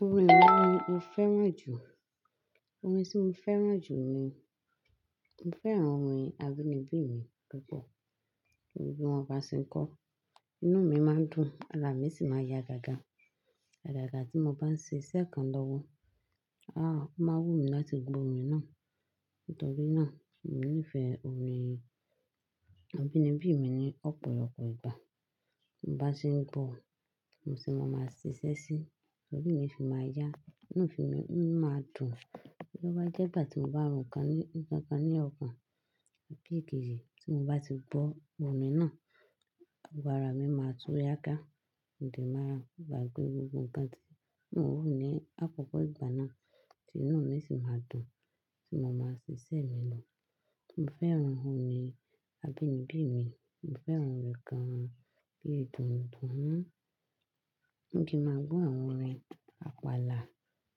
Orin wo ni o fẹ́ràn jù? Orin tí mo fẹ́ràn jù ni, mo fẹ́ràn orin abínibí mi púpọ̀. Torí bí mo bá se ún kọ ọ́ inú mi máa dùn, ara à mi sì máa ń ya gágá. À gàgà tí mo bá ń ṣe iṣẹ́ kan lọ́wọ́, áà máa ń wù mí láti gbọ́ orin náà. Nítorí náà mo nífẹ̀ẹ́ orin abínibí mi ní ọ̀pọ̀lọpọ̀ ìgbà. Bí n bá ṣe ngbọ́, mo se máa máa ṣiṣẹ́ síi, lóri mi fi máa yá, inú mi máa dùn. Tó bá jẹ́ ìgbà tí o bá n ro ǹkan ní ǹkan kan ní ọkàn, tí mo bá ti gbọ́ orin náà, gbogbo ara mi má tú yágá, mo dẹ̀ ma gbàgbé gbogbo ǹkan tí mò n rò ní àkókò ìgbà náà tí inú mí sì ma dùn tí mo ma ṣiṣẹ́ mi lọ. Mo fẹ́ràn orin abínibí mi, mo fẹ́ràn rẹ̀ gan-an bí ètùnú dúmú. Bí kí n máa gbọ́ àwọn orin àpàlà,